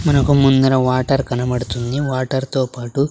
మనకు ముందర వాటర్ కనబడుతుంది వాటర్ తో పాటు--